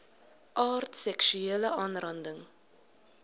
aard seksuele aanranding